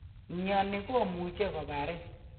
Mioni komuche koparin.